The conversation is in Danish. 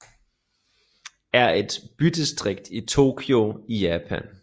er et bydistrikt i Tokyo i Japan